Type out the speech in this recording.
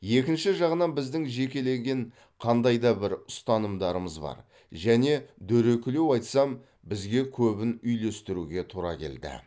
екінші жағынан біздің жекелеген қандай да бір ұстанымдарымыз бар және дөрекілеу айтсам бізге көбін үйлестіруге тура келді